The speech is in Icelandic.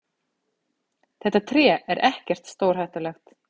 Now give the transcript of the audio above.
Þetta tré er ekkert stórhættulegt.